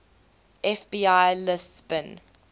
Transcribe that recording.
fbi lists bin